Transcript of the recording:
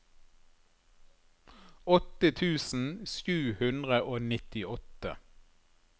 åtte tusen sju hundre og nittiåtte